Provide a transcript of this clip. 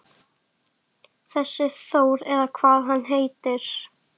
Þessi Þór eða hvað hann heitir.